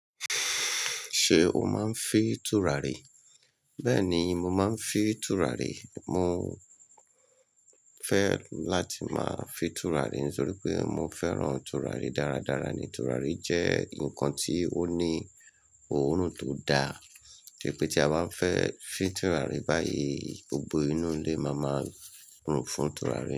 Ṣé o máa ń fi tùràrí? Bẹ́ẹ̀ni, mo máa ń fi tùràrí. Mò ń fẹ́ láti máa fi tùràrí nítorí pé mo fẹ́ràn tùràrí dáradára. Tùràrí jẹ́ nǹkan tí ó ní òórùn tó daa. To jẹ̀ pẹ́ tí a bá fẹ́ fin tùràrí báyìí, gbogbo inú ilé máa maa rùn fún tùràrí.